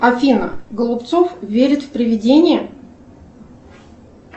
афина голубцов верит в привидения